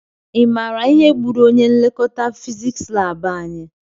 I maara ihe gbúrù ọnye nlekọta fiziks lab anyị?